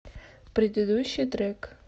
предыдущий трек